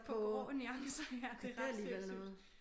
På grå nuancer ja det ret sindssygt